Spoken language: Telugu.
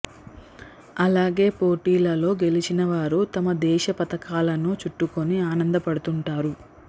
అలాగే పోటీలలో గెలిచిన వారు తమ దేశ పతకాలను చుట్టుకొని ఆనందపడుతుంటారు